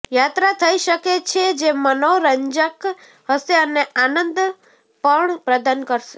યાત્રા થઇ શકે છે જે મનોરંજક હશે અને આનંદ પણ પ્રદાન કરશે